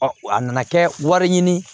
a nana kɛ wari ɲini